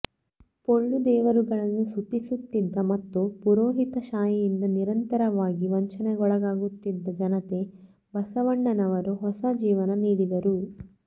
ಪೊಳ್ಳು ದೇವರುಗಳನ್ನು ಸ್ತುತಿಸುತ್ತಿದ್ದ ಮತ್ತು ಪುರೋಹಿತ ಶಾಹಿಯಿಂದ ನಿರಂತರವಾಗಿ ವಂಚನೆಗೊಳಗಾಗುತ್ತಿದ್ದ ಜನತೆಗೆ ಬಸವಣ್ಣನವರು ಹೊಸ ಜೀವನ ನೀಡಿದರು